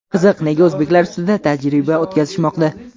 Qiziq, nega o‘zbeklar ustida tajriba o‘tkazishmoqda?